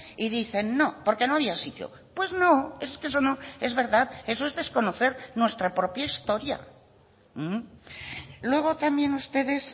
y dicen no porque no había sitio pues no es que eso no es verdad eso es desconocer nuestra propia historia luego también ustedes